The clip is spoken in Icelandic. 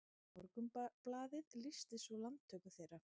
Morgunblaðið lýsti svo landtöku þeirra